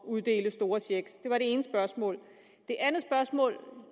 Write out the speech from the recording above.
uddele store checks det var det ene spørgsmål det andet spørgsmål